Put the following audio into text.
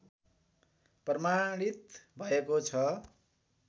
प्रमाणित भएको छ